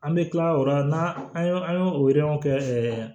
An bɛ kila o la n'an an y'o an y'o o yɔrɔ kɛ ɛɛ